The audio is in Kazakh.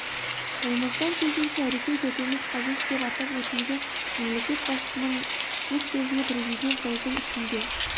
қолымыздан келгенше әрекет етуіміз қажет деп атап өтілген мемлекет басшысының өз сөзінде президент жылдың ішінде